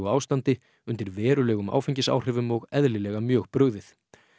ástandi undir verulegum áfengisáhrifum og eðlilega mjög brugðið